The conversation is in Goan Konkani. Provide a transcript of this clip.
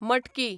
मटकी